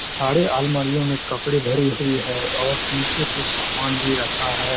सारे अलमारियो में कपड़े भरे हुए है और नीचे कुछ सामान भी रखा हैं।